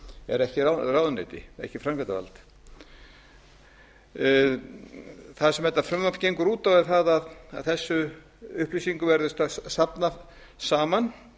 er ekki ráðuneyti er ekki framkvæmdarvald það sem þetta frumvarp gengur út á er að þessum upplýsingum verði strax safnað saman